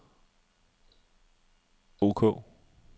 ok